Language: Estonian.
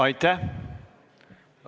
Aitäh!